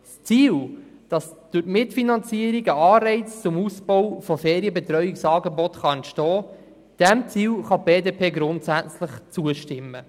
Dem Ziel, dass durch die Mitfinanzierung ein Anreiz hinsichtlich des Ausbaus von Ferienbetreuungsangeboten entstehen kann, diesem Ziel kann die BDP grundsätzlich zustimmen.